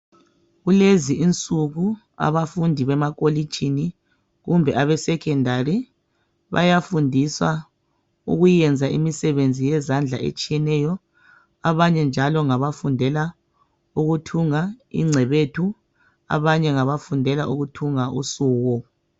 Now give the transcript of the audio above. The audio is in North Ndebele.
Kulezi insuku abafundi bemakolitshini kumbe abeSekhondari bayafundiswa ukuyenza imisebenzi yezandla etshiyeneyo. Abanye njalo ngabafundela ukuthunga ingcebethu. Abanye ngabafundela ukuthunga usuko.